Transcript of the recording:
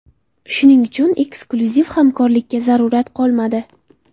Shuning uchun, eksklyuziv hamkorlikka zarurat qolmadi.